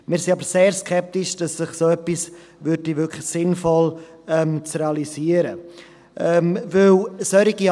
Wir sind aber sehr skeptisch, dass so etwas wirklich sinnvoll zu realisieren wäre.